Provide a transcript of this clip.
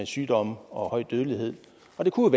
sygdom og høj dødelighed og det kunne